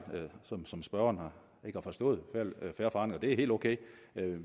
som spørgeren ikke har forstået i det er helt ok